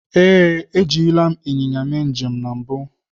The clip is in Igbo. Ee, ejirila m ịnyịnya mee njem na mbụ.